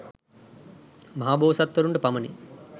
මහබෝසත්වරුන්ටම පමණි